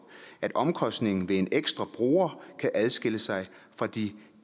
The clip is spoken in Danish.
at omkostningen ved en ekstra bruger kan adskille sig fra de